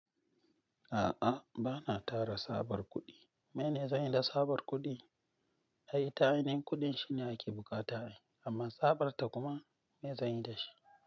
A'a, ba na tara tsabar kuɗi. Mene zanyi da tsabar kuɗi? Ai ita'inin kuɗin shine ake buƙata amma tsabarta kuma maye zanyi da shi?